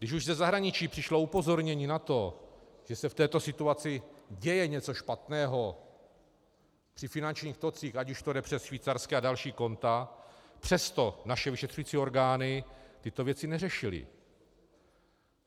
Když už ze zahraničí přišlo upozornění na to, že se v této situaci děje něco špatného při finančních tocích, ať už to jde přes švýcarská a další konta, přesto naše vyšetřující orgány tyto věci neřešily.